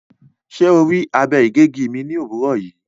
Ṣe o rii abe-igegi mi ni owurọ yii?